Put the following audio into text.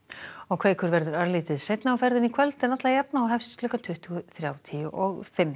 kveikur verður örlítið seinna á ferðinni í kvöld en alla jafna og hefst klukkan tuttugu þrjátíu og fimm